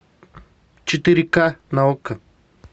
четыре ка на окко